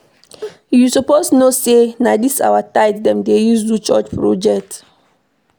You suppose know sey na dis our tithe dem dey use do church project.